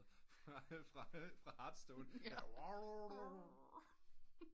Fra hearthstone